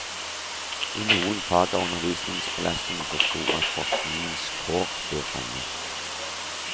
I noen fag er undervisningsbelastningen så stor at forskningens kår blir trange.